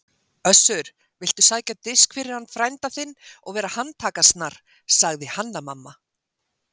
Össur, viltu sækja disk fyrir hann frænda þinn og vera handtakasnar, sagði Hanna-Mamma.